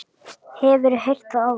Hefurðu heyrt það áður?